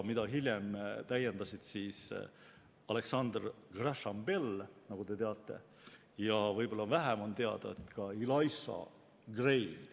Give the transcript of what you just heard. Hiljem täiendas seda Alexander Graham Bell, nagu te teate, ja võib-olla vähem on teada, et ka Elisha Gray.